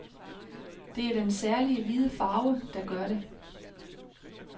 Det er den særlige hvide farve, der gør det.